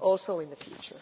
also in the future.